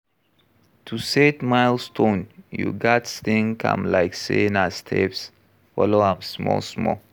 To set milestone you gats think am like sey na steps, follow am small small